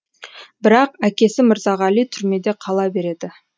бірақ әкесі мырзағали түрмеде қала береді